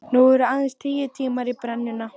Nú eru aðeins tíu tímar í brennuna.